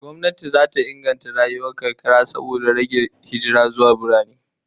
Gwamnati zata inganta rayuwar karkara saboda rage hijira zuwa birane